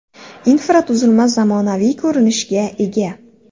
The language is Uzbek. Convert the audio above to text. Infratuzilma zamonaviy ko‘rinishga ega.